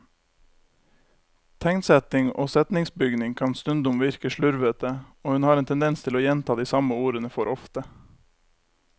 Tegnsetting og setningsbygning kan stundom virke slurvete, og hun har en tendens til å gjenta de samme ordene for ofte.